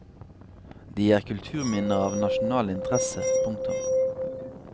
De er kulturminner av nasjonal interesse. punktum